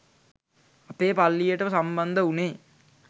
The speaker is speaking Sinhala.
අපේ පල්ලියට සම්බන්ධ උනේ